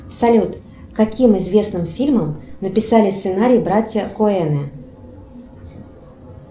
салют к каким известным фильмам написали сценарий братья коэны